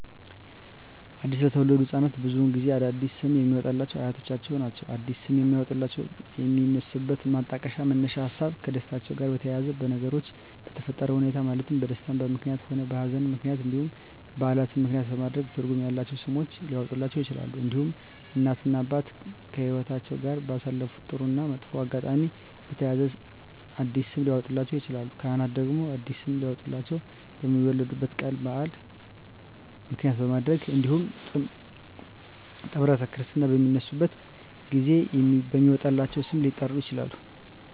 አዲስ ለተወለዱ ህፃናት ብዙውን ጊዜ አዲስ ስም የሚያወጡሏቸው አያቶቻቸውን ነው አዲስ ስም የሚያወጧላቸው የሚነሱበት ማጣቀሻ መነሻ ሀሳቦች ከደስታቸው ጋር በተያያዘ በነገሮች በተፈጠረ ሁኔታዎች ማለትም በደስታም ምክንያትም ሆነ በሀዘንም ምክንያት እንዲሁም በዓላትን ምክንያትም በማድረግ ትርጉም ያላቸው ስሞች ሊያወጡላቸው ይችላሉ። እንዲሁም እናት እና አባት ከህይወትአቸው ጋር ባሳለፉት ጥሩ እና መጥፎ አጋጣሚ በተያያዘ አዲስ ስም ሊያወጡላቸው ይችላሉ። ካህናት ደግሞ አዲስ ስም ሊያወጡላቸው የሚወለዱበት ቀን በዓል ምክንያት በማድረግ እንዲሁም ጥምረተ ክርስትና በሚነሱበት ጊዜ በሚወጣላቸው ስም ሊጠሩ ይችላሉ።